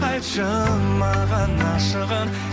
айтшы маған ашығын